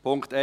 Punkt 1: